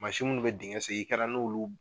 Mansinw minnu bɛ dingɛ sen i kɛra n'olu